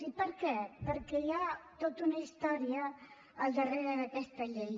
i per què perquè hi ha tota una historia al darrere d’aquesta llei